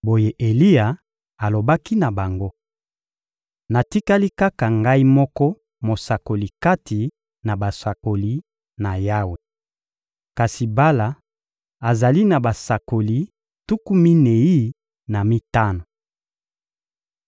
Boye Eliya alobaki na bango: — Natikali kaka ngai moko mosakoli kati na basakoli na Yawe. Kasi Bala azali na basakoli tuku minei na mitano.